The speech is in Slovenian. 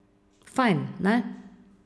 Fajn, ne?